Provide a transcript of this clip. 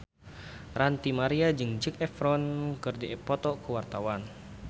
Ranty Maria jeung Zac Efron keur dipoto ku wartawan